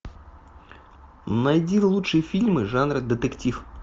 найди лучшие фильмы жанра детектив